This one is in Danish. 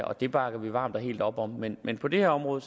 og det bakker vi varmt og helt op om men men på det her område